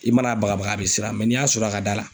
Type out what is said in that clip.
I mana a baga baga a bɛ siran n'i y'a sɔrɔ a ka da la